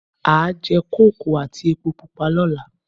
A jẹ kókò àti èpo pupa lọ́la